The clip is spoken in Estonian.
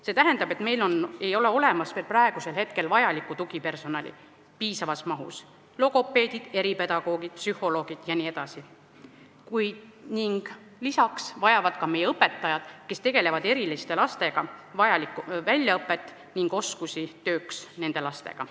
See tähendab, et meil ei ole praegu veel olemas piisavas mahus vajalikku tugipersonali – logopeedid, eripedagoogid, psühholoogid jne –, ning lisaks vajavad ka meie õpetajad, kes tegelevad eriliste lastega, vajalikku väljaõpet ja oskusi tööks nende lastega.